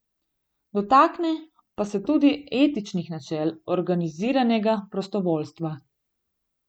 Dotakne pa se tudi etičnih načel organiziranega prostovoljstva.